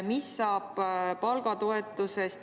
Mis saab palgatoetusest?